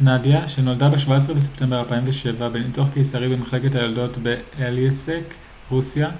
נדיה שנולדה ב-17 בספמטבר 2007 בניתוח קיסרי במחלקת היולדות באלייסק רוסיה